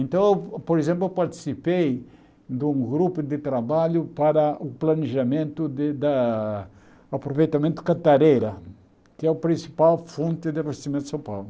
Então, por exemplo, eu participei de um grupo de trabalho para o planejamento de da aproveitamento de cantareira, que é a principal fonte de abastecimento de São Paulo.